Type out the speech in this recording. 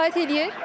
Kifayət eləyir?